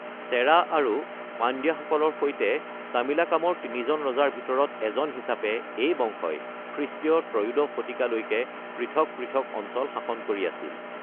চেৰা আৰু পাণ্ড্যাসকলৰ সৈতে তামিলাকামৰ তিনিজন ৰজাৰ ভিতৰত এজন হিচাপে এই বংশই খ্ৰীষ্টীয় ত্ৰয়োদশ শতিকালৈকে পৃথক পৃথক অঞ্চল শাসন কৰি আছিল।